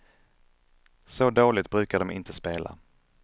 Så dåligt brukar de inte spela.